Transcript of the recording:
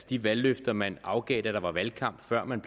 de valgløfter man afgav da der var valgkamp og før man